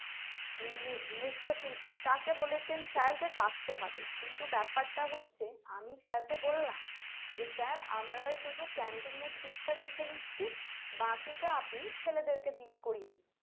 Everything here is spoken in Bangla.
নিনৃত্য শিল্পী তাকে বলেছেন Sir যে ডাকতে হবে কিন্তু ব্যাপারটা হচ্ছে আমি Sir কে বললাম যে Sir আমরা শুধু Camping এর দিকটা দেখে নিচ্ছি বাকিটা আপনি ছেলেদেরকে দিয়ে করিয়ে নিন